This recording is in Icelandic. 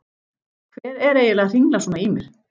Hver er eiginlega að hringla svona í mér?